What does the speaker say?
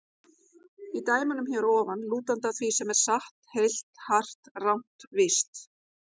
Í dæmunum hér að ofan: lútandi að því sem er satt, heilt, hart, rangt, víst.